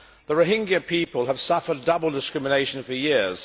The Rohingya people have suffered double discrimination for years.